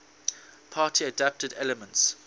party adapted elements